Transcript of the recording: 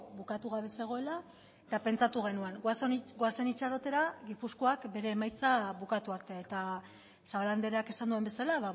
bukatu gabe zegoela eta pentsatu genuen goazen itxarotera gipuzkoak bere emaitza bukatu arte eta zabala andreak esan duen bezala